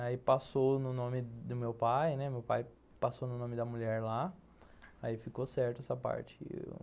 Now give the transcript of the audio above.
Aí passou no nome do meu pai, né, meu pai passou no nome da mulher lá, aí ficou certo essa parte.